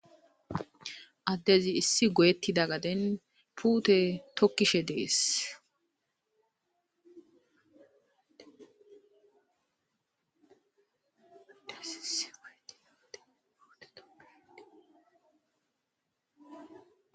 Addezi issi goyetida gaden puute tokishe de'es.